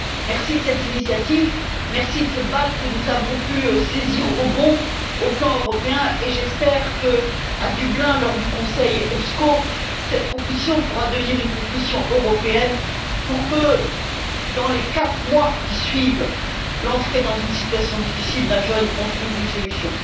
Merci de cette initiative, merci de cette balle que nous avons pu saisir au bond au plan européen et j'espère que, à Dublin, lors du Conseil EPSCO, cette proposition pourra devenir une proposition européenne pour que, dans les quatre mois qui suivent l'entrée d'un jeune dans une situation difficile, on trouve une solution.